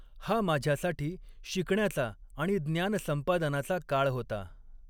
हा माझ्यासाठी शिकण्याचा आणि ज्ञान संपादनाचा काळ होता.